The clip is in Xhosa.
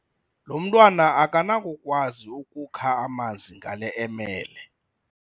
Lo mntwana akanakukwazi ukukha amanzi ngale emele.